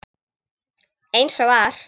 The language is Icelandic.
Eins og var.